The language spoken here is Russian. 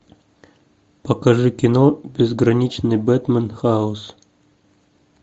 покажи кино безграничный бэтмен хаос